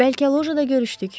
Bəlkə lojada görüşdük?